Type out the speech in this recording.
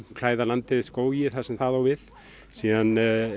klæða landið skógi þar sem það á við síðan